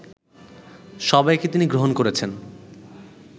সবাইকে তিনি গ্রহণ করেছেন